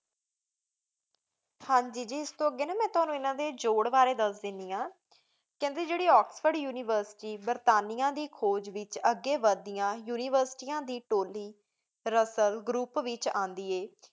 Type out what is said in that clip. ਹਨ ਜੀ ਇਸ ਤੂੰ ਅਘੀ ਮਾਨਿਨ ਤੁਵਾਨੁ ਇਏਨਾ ਡੀ ਜੋਰੇ ਬਰੀ ਦਸ੍ਦੇਂਦੀ ਆਂ ਖਾਨ ਡੀ ਜੀਰੀ ਏਕ੍ਸ੍ਫੋੜੇ ਉਨਿਵੇਸ੍ਟੋਰੀ ਬੇਰ੍ਤੇਯਾਂ ਦੀ ਖੁਜ ਵੇਚ ਅਘੀ ਵਾਦ ਡਿਯਨ ਉਨਿਵੇਸ੍ਤਾਨ ਦੀ ਟੋਲੀ ਰਸਾਲ Group ਵੇਚ ਉਂਦੀ ਆਯ